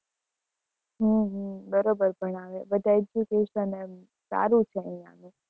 હમ હમ બરોબર ભણાવે. બધા education એમ સારું છે અહીંયાનું